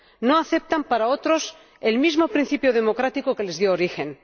No aceptan para otros el mismo principio democrático que les dio origen.